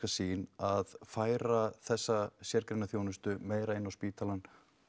sýn að færa þessa sérgreina þjónustu meira inn á spítalann